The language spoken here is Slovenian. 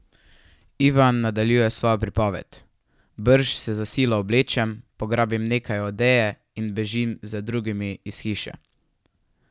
Ivan nadaljuje svojo pripoved: 'Brž se za silo oblečem, pograbim nekaj odeje in bežim za drugimi iz hiše.